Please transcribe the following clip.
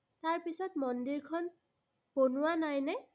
তাৰ পিছত মন্দিৰখন বনোৱা নাইনে?